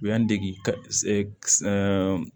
U y'an dege